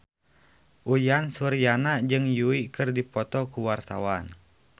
Uyan Suryana jeung Yui keur dipoto ku wartawan